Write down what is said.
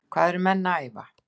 Hvað eru menn að æfa?